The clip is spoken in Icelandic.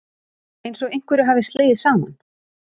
Einsog einhverju hafi slegið saman.